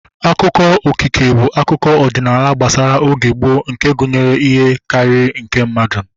Akụkọ okike bụ akụkọ ọdịnala gbasara oge gboo nke gụnyere ihe karịrị nke mmadụ